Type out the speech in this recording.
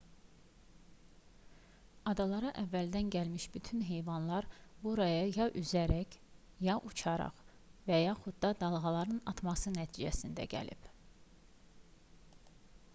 adalara əvvəldən gəlmiş bütün heyvanlar buraya ya üzərək ya uçaraq və yaxud da dalğaların atması nəticəsində gəlib